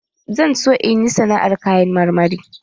Zan so in yi sana'ar kayan marmari